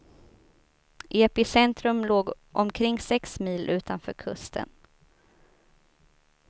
Epicentrum låg omkring sex mil utanför kusten.